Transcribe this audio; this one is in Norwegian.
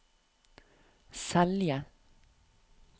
Selje